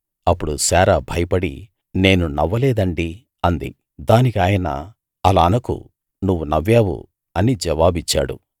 అప్పుడు శారా భయపడి నేను నవ్వలేదండీ అంది దానికి ఆయన అలా అనకు నువ్వు నవ్వావు అని జవాబిచ్చాడు